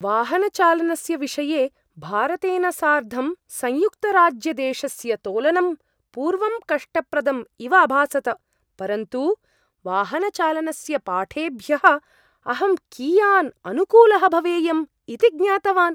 वाहनचालनस्य विषये भारतेन सार्धं संयुक्तराज्यदेशस्य तोलनं पूर्वं कष्टप्रदम् इव अभासत, परन्तु वाहनचालनस्य पाठेभ्यः अहं कियान् अनुकूलः भवेयम् इति ज्ञातवान्!